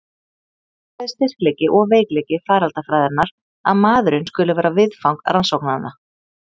Það er bæði styrkleiki og veikleiki faraldsfræðinnar að maðurinn skuli vera viðfang rannsóknanna.